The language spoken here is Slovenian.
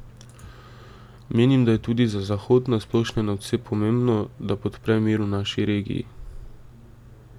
Menim, da je tudi za Zahod na splošno nadvse pomembno, da podpre mir v naši regiji.